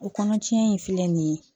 O kɔnɔcɛn in filɛ nin ye